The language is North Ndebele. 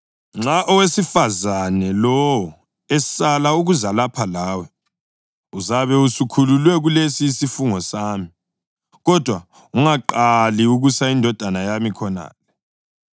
Nxa owesifazane lowo esala ukuza lapha lawe, uzabe usukhululwe kulesi isifungo sami. Kodwa ungaqali ukusa indodana yami khonale.”